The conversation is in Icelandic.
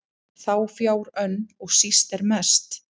þá fjár önn og síst er mest